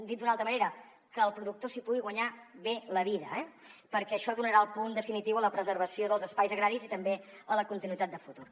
dit d’una altra manera que el productor s’hi pugui guanyar bé la vida perquè això donarà el punt definitiu a la preservació dels espais agraris i també a la continuïtat de futur